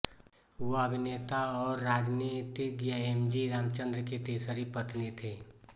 वह अभिनेता और राजनीतिज्ञ एम जी रामचंद्रन की तीसरी पत्नी थीं